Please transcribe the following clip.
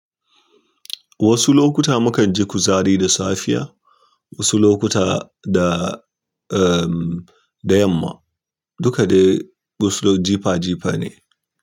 Wasu lokuta mukan ji kuzari da safiya, wasu lokuta da, eh, da yamma. Duka dai wasu jifa jifa ne.